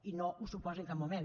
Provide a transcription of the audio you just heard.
i no ho suposa en cap moment